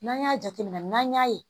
N'an y'a jateminɛ n'an y'a ye